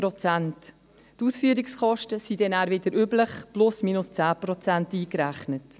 Die Ausführungskosten werden dann wieder wie üblich mit plus/minus 10 Prozent berechnet.